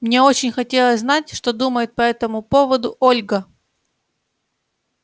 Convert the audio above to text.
мне очень хотелось знать что думает по этому поводу ольга